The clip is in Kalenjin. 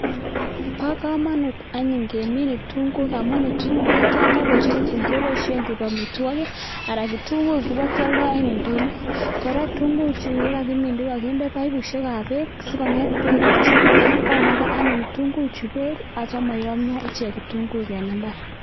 pa kamanut anyun kemin kitunguik amun kitesta amitwokik ako kealda ing ndonyo.